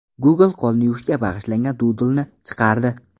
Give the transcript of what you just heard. Google qo‘lni yuvishga bag‘ishlangan dudlni chiqardi.